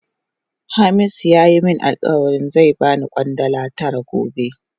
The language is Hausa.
Hamisu ya yi min alkawali zai ba ni Kwandala tara gobe.